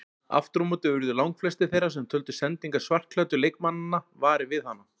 Aftur á móti urðu langflestir þeirra sem töldu sendingar svartklæddu leikmannanna varir við hana.